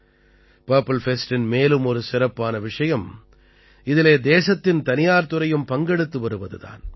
purple ஃபெஸ்டின் மேலும் ஒரு சிறப்பான விஷயம் இதிலே தேசத்தின் தனியார் துறையும் பங்கெடுத்து வருவது தான்